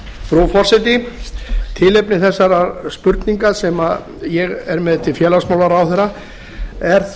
frú forseti tilefni þessarar spurningar sem ég er með til félagsmálaráðherra er